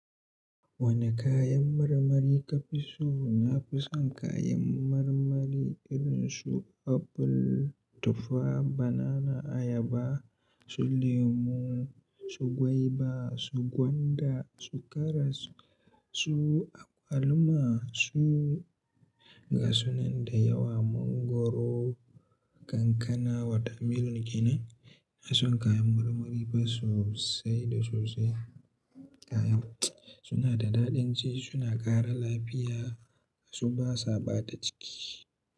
Wane kayan marmari ka fi so? Na fi son kayan marmari irin su apple, tufa, banana, ayaba, su lemu, su gwaiba, su gwanda, su karas, su alma, su gasunan da yawa, mangwaro, kankana wata milin gina. Na son kayan marmari sosai da sosai. Kayan suna da daɗin ci, suna ƙara lafiya, su basa ɓata ciki.